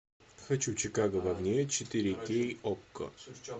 хочу чикаго в огне четыре кей окко